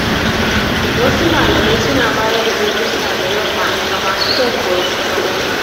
Wasu malamai suna bayar da darussa da yamma ga masu son koyon sana’o’i.